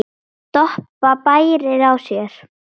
Doppa bærir á sér.